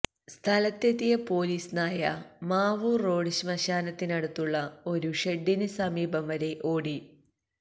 സ്ഥലത്തെത്തിയ പൊലീസ് നായ മാവൂർ റോഡ് ശ്മശാനത്തിനടുത്തുള്ള ഒരു ഷെഡിന് സമീപം വരെ ഓടി